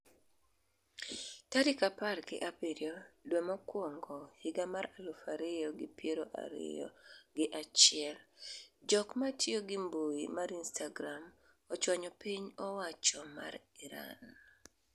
tarik apar gi abiriyo dwe mokwongo higa mar aluf ariyo gi piero ariyo gi achiel jok matiyo gi mbui mar Instagram ochwanyo piny owacho mar Iran